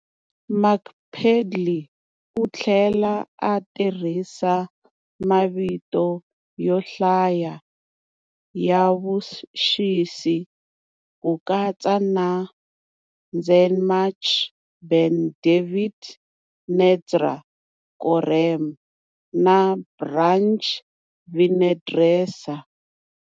Mark Pedley u tlhela a tirhisa mavito yo hlaya ya vuxisi, ku katsa na"Tzemach Ben David Netzer Korem" na"Branch Vinedresser".